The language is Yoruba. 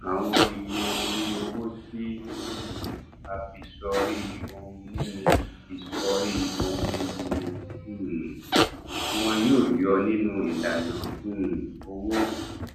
àwọn iye orí owó tí um a fi sọrí ohunìní fi sọrí ohunìní ni um wọn yóò yọ nínú ìlànà um owó